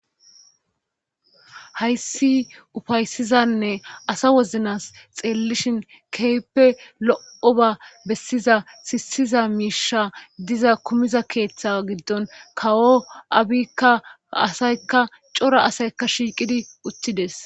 hayssi ufaysizanne asa woznas xeellishin keyppe lo7o ba bessiza sissiza miisha diza kumiza keeththa giddon kawo abikka asaykka cora asaykka shiiqidi uttides